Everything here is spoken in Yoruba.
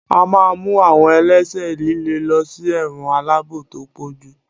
a ma mú awọn ẹlẹṣẹ lìlè ló sí ẹwọ́n alabò to pojú